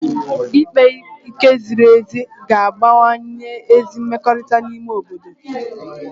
Ikpe ike ziri ezi ga-abawanye ezi mmekọrịta n'ime obodo